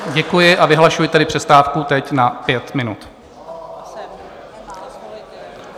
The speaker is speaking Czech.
Děkuji, a vyhlašuji tedy přestávku teď na pět minut.